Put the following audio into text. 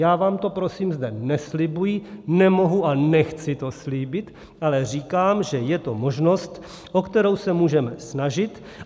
Já vám to prosím zde neslibuji, nemohu a nechci to slíbit, ale říkám, že je to možnost, o kterou se můžeme snažit.